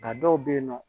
Nka dɔw bɛ yen nɔ